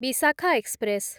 Visakha express